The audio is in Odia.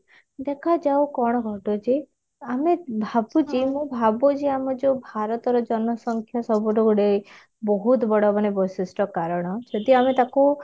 ଦେଖାଯାଉ କଣ ଘଟୁଛି ଆମେ ଭାବୁଛେ ମୁଁ ଭାବୁଛି ଆମର ଯାଉ ଭାରତର ଜନସଂଖ୍ୟା ସବୁଠୁ ଗୋଟେ ବହୁତ ବଡ ମାନେ ଗୋଟେ ବୈଶିଷ୍ଟ କାରଣ ଯଦି ଆମେ ତାକୁ